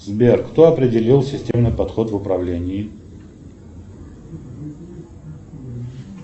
сбер кто определил системный подход в управлении